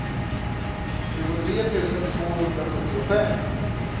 tjugotre tusen tvåhundrasjuttiofem